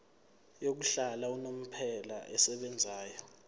yokuhlala unomphela esebenzayo